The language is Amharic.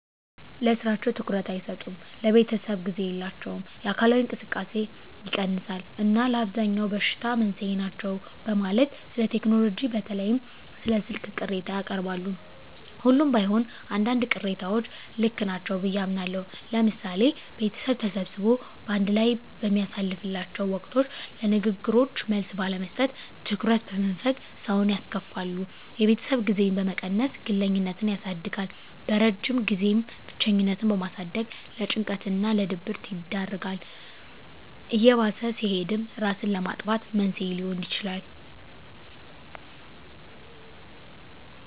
ለስራቸው ትኩረት አይሰጡም፣ ለቤተሰብ ጊዜ የላቸውም፣ የአካላዊ እንቅስቃሴ ይቀንሳል እና ለአብዛኛው በሽታ መንስኤ ናቸው በማለት ስለቴክኖሎጂ በተለይም ስለ ስልክ ቅሬታ ያቀርባሉ። ሁሉም ባይሆን አንዳንድ ቅሬታዎች ልክ ናቸው ብየ አምናለሁ። ለምሳሌ ቤተሰብ ተሰብስቦ በአንድ ላይ በሚያሳልፍላቸው ወቅቶች ለንግግሮች መልስ ባለመስጠት፣ ትኩረት በመንፈግ ሰውን ያስከፋሉ። የቤተሰብ ጊዜን በመቀነስ ግለኝነትን ያሳድጋል። በረጅም ጊዜም ብቸኝነትን በማሳደግ ለጭንቀት እና ድብረት ይዳርጋል። እየባሰ ሲሄድም እራስን ለማጥፋት መንስኤ ሊሆን ይችላል።